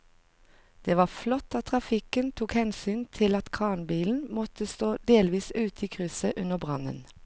Det var flott at trafikken tok hensyn til at kranbilen måtte stå delvis ute i krysset under brannen.